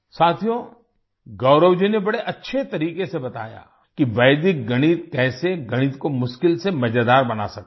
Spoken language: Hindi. साथियो गौरव जी ने बड़े अच्छे तरीके से बताया कि वैदिक गणित कैसे गणित को मुश्किल से मज़ेदार बना सकता है